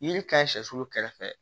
Yiri ka ɲi sɛsulu kɛrɛfɛ